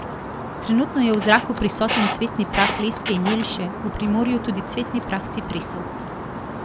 Trenutno je v zraku prisoten cvetni prah leske in jelše, v Primorju tudi cvetni prah cipresovk.